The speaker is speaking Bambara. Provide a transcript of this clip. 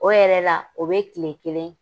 O yɛrɛ la o bɛ tile kelen